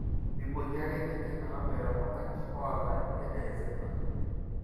mibooki ake ninye metaboitare oltungani oata emoyian e -Alzheimers